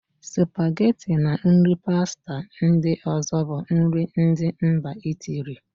Spageti na nri pasta ndị ọ̀zọ́ bụ nri ndị mba Itiili.